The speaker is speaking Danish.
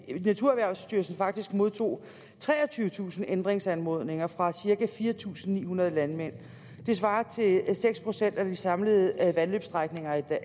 naturerhvervstyrelsen faktisk modtog treogtyvetusind ændringsanmodninger fra cirka fire tusind ni hundrede landmænd det svarer til seks procent af de samlede vandløbsstrækninger